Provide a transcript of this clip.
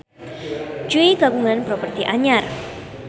Jui kagungan properti anyar